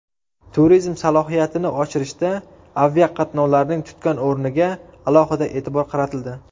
Turizm salohiyatini oshirishda aviaqatnovlarning tutgan o‘rniga alohida e’tibor qaratildi.